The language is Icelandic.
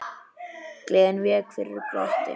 Gleðin vék fyrir glotti.